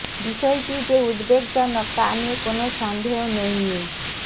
বিষয়টি যে উদ্বেগজনক তা নিয়ে কোন সন্দেহ নেই মি